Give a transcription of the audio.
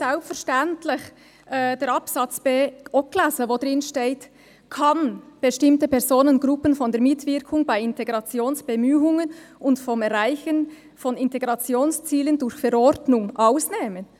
Selbstverständlich haben wir nachher den Buchstabe b auch gelesen, wo drinsteht «kann bestimmte Personengruppen von der Mitwirkung bei Integrationsbemühungen und vom Erreichen von Integrationszielen durch Verordnung ausnehmen».